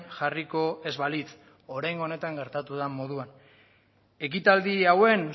jarriko ez balitz oraingo honetan gertatu den moduan ekitaldi hauen